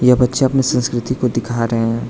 यह बच्चे अपने संस्कृति को दिखा रहे हैं।